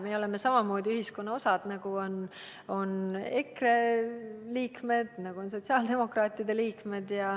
Me oleme samamoodi ühiskonna osa, nagu on EKRE liikmed ja nagu on sotsiaaldemokraatide liikmed.